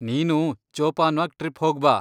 ನೀನೂ ಜೋಪಾನ್ವಾಗ್ ಟ್ರಿಪ್ ಹೋಗ್ಬಾ.